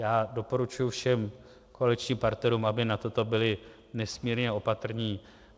Já doporučuji všem koaličním partnerům, aby na toto byli nesmírně opatrní.